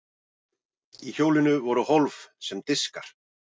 í hjólinu voru hólf sem diskar